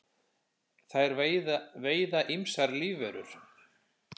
þær veiða ýmsar lífverur